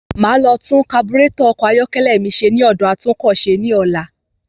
Máa lọ tun kaburàtọ̀ ọkọ̀ ayọ́kẹ́lẹ́ mi ṣe ní ọ̀dọ̀ atúnọkọ̀ṣe ní ọlá.